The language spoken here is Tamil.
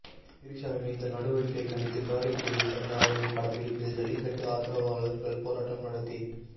திரிஷாவின் இந்த நடவடிக்கையை கண்டித்து காரைக்குடியில் நடந்த அவரின் படப்பிடிப்பில் ஜல்லிகட்டு ஆதரவாளர்கள் போராட்டம் நடத்தி